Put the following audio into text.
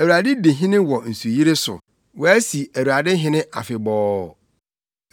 Awurade di hene wɔ nsuyiri so; wɔasi Awurade hene afebɔɔ.